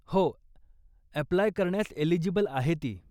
हो, अप्लाय करण्यास एलिजिबल आहे ती.